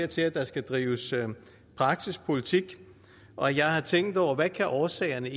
til at der skal drives praktisk politik og jeg har tænkt over hvad årsagerne